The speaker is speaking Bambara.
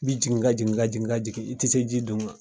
Bi jigin ka jigin ka jigin ka jigin i te se ji dun ma.